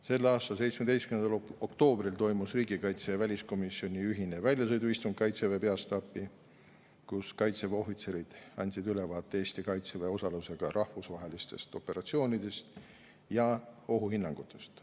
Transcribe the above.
Selle aasta 17. oktoobril toimus riigikaitsekomisjoni ja väliskomisjoni ühine väljasõiduistung Kaitseväe peastaapi, kus Kaitseväe ohvitserid andsid ülevaate Eesti Kaitseväe osalusega rahvusvahelistest operatsioonidest ja ohuhinnangutest.